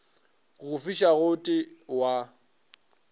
go fisa go t wa